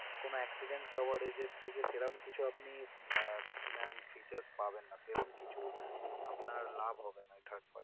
কোন accident coverage এর থেকে সেরকম কিছু আপনি আহ ma'am features পাবেন না সেরকম কিছু আপনার লাভ হবে না। third party